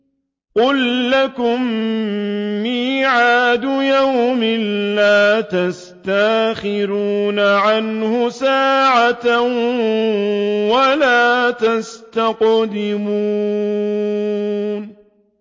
قُل لَّكُم مِّيعَادُ يَوْمٍ لَّا تَسْتَأْخِرُونَ عَنْهُ سَاعَةً وَلَا تَسْتَقْدِمُونَ